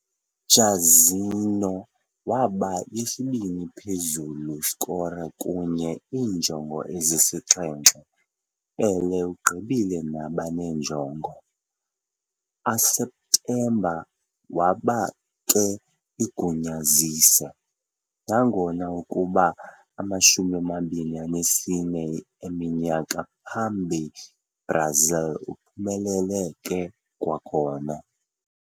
Jairzinho waba yesibini phezulu scorer kunye iinjongo ezisixhenxe, Pelé ugqibile nabane njongo. A septemba waba ke igunyazise, nangona izakuba 24 eminyaka phambi Brazil uphumelele ke kwakhona.